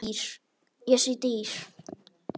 Ég sé dyr.